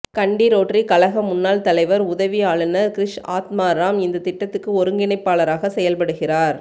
கண்டி Rotary கழக முன்னாள் தலைவர் உதவி ஆளுநர் கிரிஷ் ஆத்மாராம் இந்த திட்டத்துக்கு ஒருங்கிணைப்பாளராக செயல் படுகிறார்